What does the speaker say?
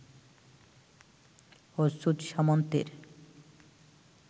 Achyuta সামন্তের